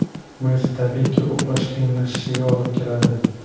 Bu esa, tabiiyki, uxlash qiyinlashishiga olib keladi.